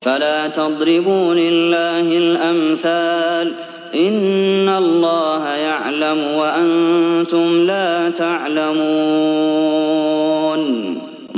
فَلَا تَضْرِبُوا لِلَّهِ الْأَمْثَالَ ۚ إِنَّ اللَّهَ يَعْلَمُ وَأَنتُمْ لَا تَعْلَمُونَ